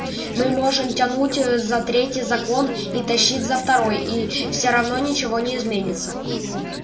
мы можем тянуть ээ за третий закон и тащить за второй и все равно ничего не изменится